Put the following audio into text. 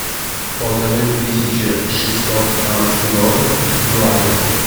полторы тысячи шестьсот канадских долларов в юанях